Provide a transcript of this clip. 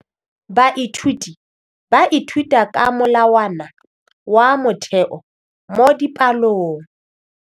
Baithuti ba ithuta ka molawana wa motheo mo dipalong.